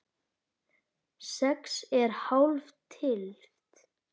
Sex er hálf tylft.